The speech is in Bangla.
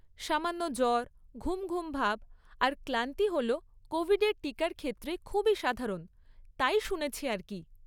সামান্য জ্বর, ঘুম ঘুম ভাব, আর ক্লান্তি হল কোভিডের টিকার ক্ষেত্রে খুবই সাধারণ, তাই শুনেছি আর কী।